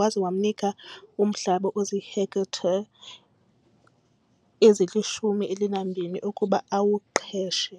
waza wamnika umhlaba ozihektare ezili-12 ukuba awuqeshe.